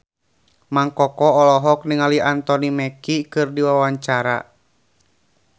Mang Koko olohok ningali Anthony Mackie keur diwawancara